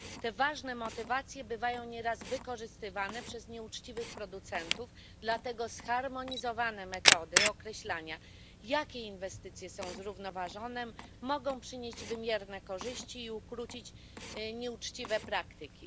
Te ważne motywacje są nieraz wykorzystywane przez nieuczciwych producentów, dlatego zharmonizowane metody określania, jakie inwestycje są zrównoważone, mogą przynieść wymierne korzyści i ukrócić nieuczciwe praktyki.